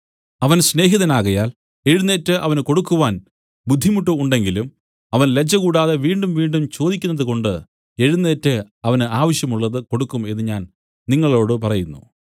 അവൻ സ്നേഹിതനാകയാൽ എഴുന്നേറ്റ് അവന് കൊടുക്കുവാൻ ബുദ്ധിമുട്ട് ഉണ്ടെങ്കിലും അവൻ ലജ്ജകൂടാതെ വീണ്ടുംവീണ്ടും ചോദിക്കുന്നത് കൊണ്ട് എഴുന്നേറ്റ് അവന് ആവശ്യം ഉള്ളത് കൊടുക്കും എന്നു ഞാൻ നിങ്ങളോടു പറയുന്നു